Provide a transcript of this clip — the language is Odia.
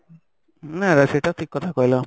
ନା ନା ସେଇଟା ଠିକ କଥା କହିଲ